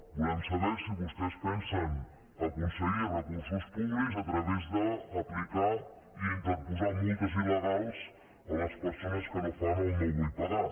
volem saber si vostès pensen aconseguir recursos públics a través d’aplicar i interposar multes il·legals a les persones que fan el no vull pagar